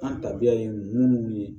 An tabiya ye munnu ye